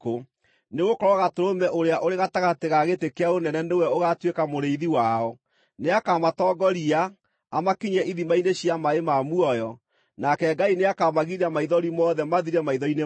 Nĩgũkorwo Gatũrũme ũrĩa ũrĩ gatagatĩ ga gĩtĩ kĩa ũnene nĩwe ũgaatuĩka mũrĩithi wao; nĩakamatongoria, amakinyie ithima-inĩ cia maaĩ ma muoyo. Nake Ngai nĩakamagiria maithori mothe mathire maitho-inĩ mao.”